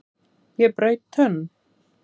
Ég braut tönn!